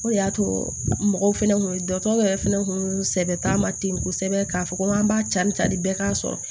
O de y'a to mɔgɔw fɛnɛ kun ye dɔgɔtɔrɔ yɛrɛ fɛnɛ kun sɛbɛn t'a ma ten kosɛbɛ k'a fɔ ko an b'a ca ni tari bɛɛ k'a sɔrɔ